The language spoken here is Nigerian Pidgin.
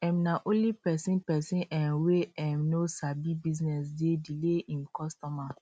um na only pesin pesin um wey um no sabi business dey delay im customer